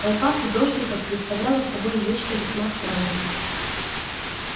толпа фидошников представляла собой нечто весьма странное